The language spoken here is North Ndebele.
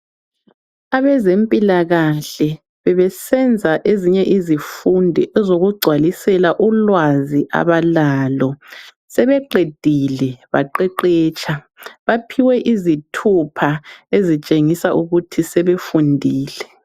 Abezempilakahle bebesenza ezinye izifundi ezokugcwalisela ulwazi abalalo. Sebeqedile baqeqetsha. Baphiwe izithupha ezitshengisa ukuthi sebefundile.